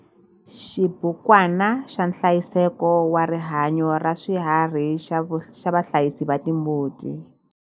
Xibukwana xa nhlayiseko wa rihanyo ra swiharhi xa vahlayisi va timbuti.